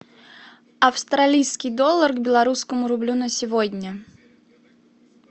австралийский доллар к белорусскому рублю на сегодня